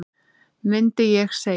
mundi ég segja.